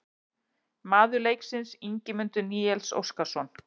Maður leiksins: Ingimundur Níels Óskarsson